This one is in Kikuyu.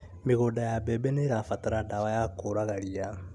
Mĩgũnda ya mbembe nĩĩbatara ndawa ya kũraga ria